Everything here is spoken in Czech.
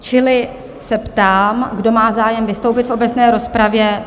Čili se ptám, kdo má zájem vystoupit v obecné rozpravě?